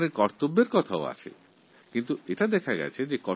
সংবিধানে কর্তব্যের ওপরেও সমান জোর দেওয়া হয়েছে